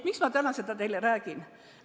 Miks ma seda täna teile räägin?